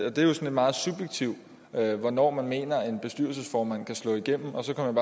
er jo sådan meget subjektivt hvornår man mener en bestyrelsesformand kan slå igennem og så kom